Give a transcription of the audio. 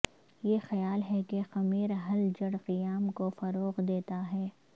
یہ خیال ہے کہ خمیر حل جڑ قیام کو فروغ دیتا ہے